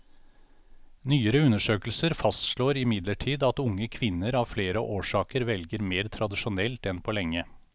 Nyere undersøkelser fastslår imidlertid at unge kvinner av flere årsaker velger mer tradisjonelt enn på lenge.